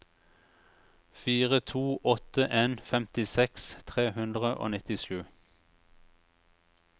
fire to åtte en femtiseks tre hundre og nittisju